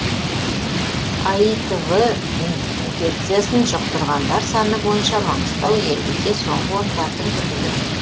аитв инфекциясын жұқтырғандар саны бойынша маңғыстау елімізде соңғы орындардың бірінде тұр